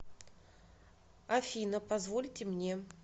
афина позвольте мне